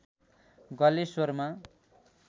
गलेश्वरमा